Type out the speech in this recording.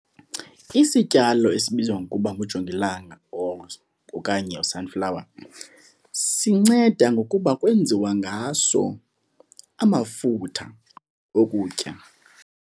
Isityalo esibizwa ngokuba ngujongilanga or okanye sunflower sinceda ngokuba kwenziwa ngaso amafutha okutya.